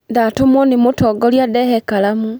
Ndatũmwo nĩ mũtongoria ndehe karamu.